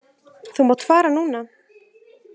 Þú mátt fara núna.